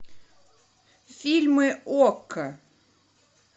фильмы окко